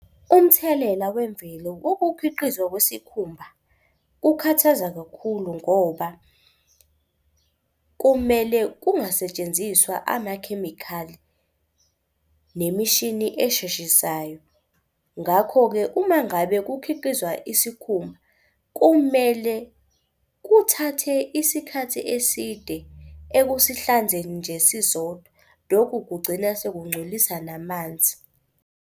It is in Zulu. Umthelela wemvelo wokukhiqizwa kwesikhumba kukhathaza kakhulu ngoba kumele kungasetshenziswa amakhemikhali nemishini esheshisayo. Ngakho-ke uma ngabe kukhiqizwa isikhumba kumele kuthathe isikhathi eside ekusihlanzeni nje sisodwa lokhu kugcina sekungcolisa namanzi.